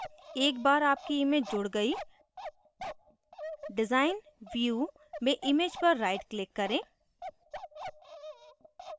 एक बार आपकी image जुड गयी design view में image पर right click करें